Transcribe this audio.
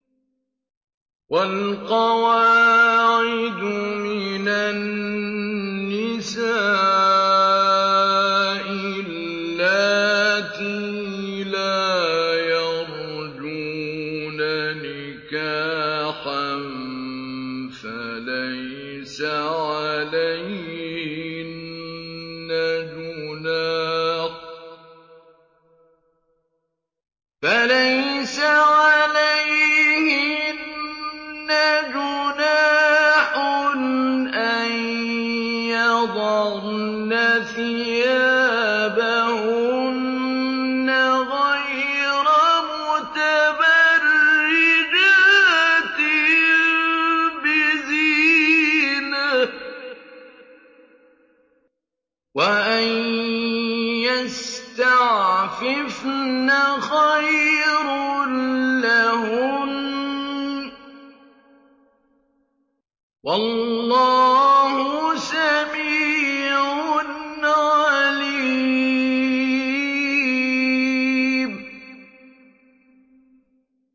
وَالْقَوَاعِدُ مِنَ النِّسَاءِ اللَّاتِي لَا يَرْجُونَ نِكَاحًا فَلَيْسَ عَلَيْهِنَّ جُنَاحٌ أَن يَضَعْنَ ثِيَابَهُنَّ غَيْرَ مُتَبَرِّجَاتٍ بِزِينَةٍ ۖ وَأَن يَسْتَعْفِفْنَ خَيْرٌ لَّهُنَّ ۗ وَاللَّهُ سَمِيعٌ عَلِيمٌ